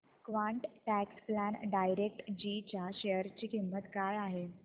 quant tax plan direct G च्या share ची किंमत काय आहे